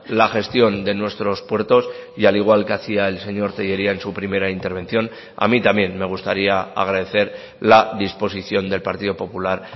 la gestión de nuestros puertos y al igual que hacía el señor tellería en su primera intervención a mí también me gustaría agradecer la disposición del partido popular